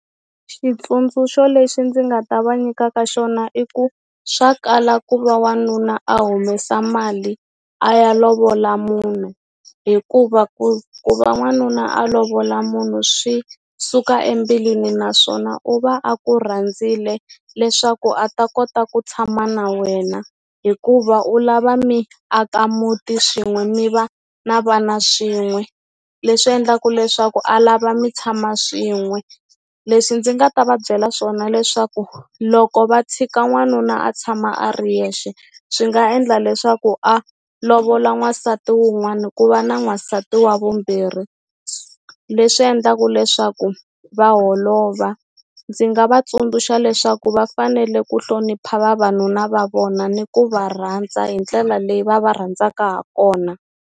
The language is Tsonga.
Xitsundzuxo lexi ndzi nga ta va nyikaka xona i ku swa kala ku va wanuna a humesa mali a ya lovola munhu hikuva ku ku va n'wanuna a lovola munhu swi suka embilwini naswona u va a ku rhandzile leswaku a ta kota ku tshama na wena hikuva u lava mi aka muti swin'we mi va na vana swin'we leswi endlaku leswaku a lava mi tshama swin'we leswi ndzi nga ta va byela swona leswaku loko va tshika n'wanuna a tshama a ri yexe swi nga endla leswaku a lovola n'wansati wun'wana ku va na n'wansati wa vumbirhi leswi endlaka leswaku va holova ndzi nga va tsundzuxa leswaku va fanele ku hlonipha vavanuna va vona ni ku va rhandza hi ndlela leyi va va rhandzaka ha kona.